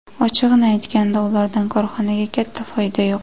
Ochig‘ini aytganda, ulardan korxonaga katta foyda yo‘q.